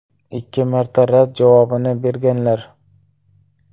Ikki marta rad javobini berganlar.